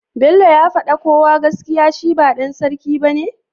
bello ya fada kowa gaskiya shi ba dan sarki bane?